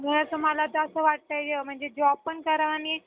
मला तर असं वाटतंय म्हणजे job पण करावा